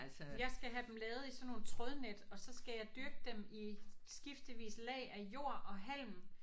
Jeg skal have dem lavet i sådan nogle trådnet og så skal jeg dyrke dem i skiftevis lag af jord og halm